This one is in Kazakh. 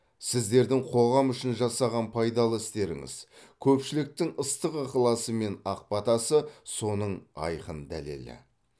сіздердің қоғам үшін жасаған пайдалы істеріңіз көпшіліктің ыстық ықыласы мен ақ батасы соның айқын дәлелі